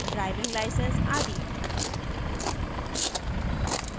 driving license आदि